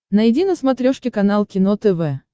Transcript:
найди на смотрешке канал кино тв